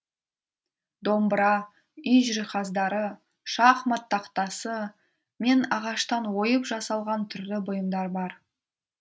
домбыра үй жиһаздары шахмат тақтасы мен ағаштан ойып жасалған түрлі бұйымдар бар